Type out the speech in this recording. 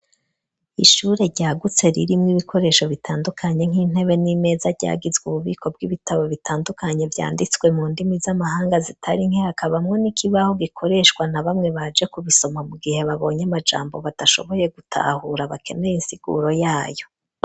Ishure ryagutse ririmwo ibikoresho bitandukanye nk'intebe n'imeza ryagizwe ububiko bw'ibitabo bitandukanye vyanditswe mu ndimi z'amahanga zitari nke hakabamwe n'ikibaho gikoreshwa na bamwe baje kubisoma mu gihe babonye amajambo badashoboye gutahura bakeneye insiguro yayo.